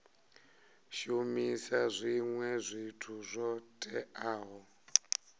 shumisa zwinwe zwithu zwo teaho